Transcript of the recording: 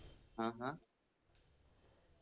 ആ ആഹ്